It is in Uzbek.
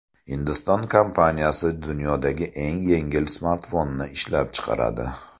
Hindiston kompaniyasi dunyodagi eng yengil smartfonni ishlab chiqaradi.